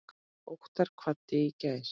Óttar kvaddi í gær.